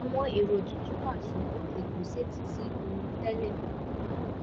àwọn èrò tuntun wà ṣùgbọ́n ètò ṣetí sí ohun tẹ́lẹ̀